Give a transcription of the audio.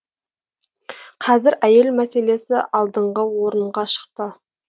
қазір әйел мәселесі алдыңғы орынға шықты